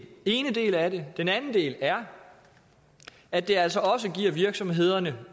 ene del af det den anden del er at det altså også giver virksomhederne